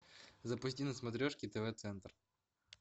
запусти на смотрешке тв центр